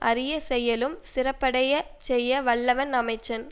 அறிய செயலும் சிறப்படைய செய்ய வல்லவன் அமைச்சன்